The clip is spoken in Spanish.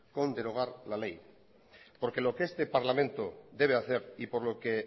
con derogar la ley porque lo que este parlamento debe hacer y por lo que